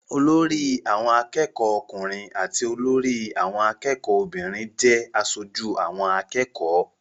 Olórí àwọn akẹ́kọ̀ọ́ ọkùnrin àti olórí àwọn akẹ́kọ̀ọ́ obìnrin jẹ́ aṣojú àwọn akẹ́kọ̀ọ́.